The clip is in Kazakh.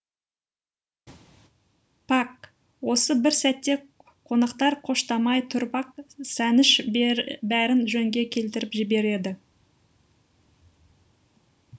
пак осы бір сәтте қонақтар қоштамай тұрып ақ сәніш бәрін жөнге келтіріп жібереді